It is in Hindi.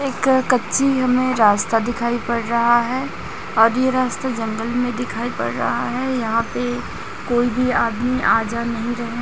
एक कच्ची हमें रास्ता दिखाई पड़ रहा है और ये रास्ता जंगल में दिखाई पड़ रहा है यहां पे कोई भी आदमी आ जा नहीं रहे--